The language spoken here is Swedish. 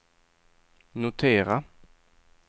notera